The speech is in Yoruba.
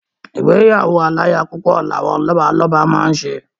Ìgbéyàwó aláyapúpọ̀ ni àwọn Lọ́balọ́ba máa ń ṣe